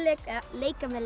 leika með